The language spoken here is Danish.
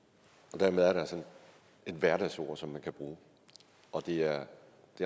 og dermed er der altså et hverdagsord som man kan bruge og det er